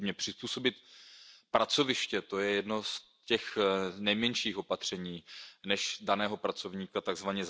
Nepochybně přizpůsobení pracoviště, to je jedno z těch nejmenších opatření než daného pracovníka tzv.